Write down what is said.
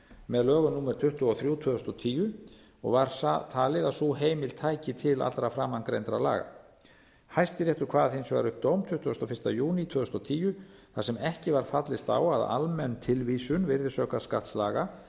með lögum númer tuttugu og þrjú tvö þúsund og tíu og var talið að sú heimild tæki til allra framangreindra laga hæstiréttur kvað hins vegar upp dóm tuttugasta og fyrsta júní tvö þúsund og tíu þar sem ekki var fallist á að almenn tilvísun virðisaukaskattslaga